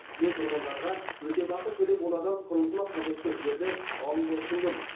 мен тұрғындарға өтемақы төлеп олардан құрылысыма қажетті жерді алуды ұсындым